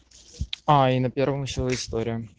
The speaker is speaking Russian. а и на первом ещё история